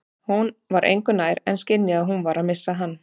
Hún var engu nær en skynjaði að hún var að missa hann.